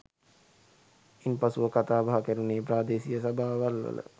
ඉන්පසුව කතාබහ කෙරුණේ ප්‍රාදේශීය සභාවල්වල